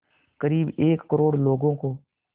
क़रीब एक करोड़ लोगों को